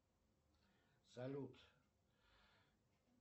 салют